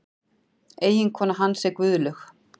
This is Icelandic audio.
Eiginkona hans er Guðlaug